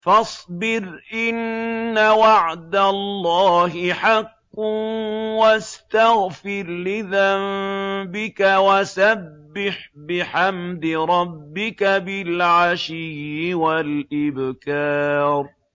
فَاصْبِرْ إِنَّ وَعْدَ اللَّهِ حَقٌّ وَاسْتَغْفِرْ لِذَنبِكَ وَسَبِّحْ بِحَمْدِ رَبِّكَ بِالْعَشِيِّ وَالْإِبْكَارِ